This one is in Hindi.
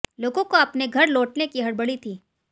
लोगों को अपने घर लौटने की हड़बड़ी थी